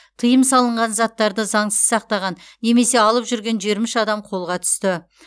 тыйым салынған заттарды заңсыз сақтаған немесе алып жүрген жиырма үш адам қолға түсті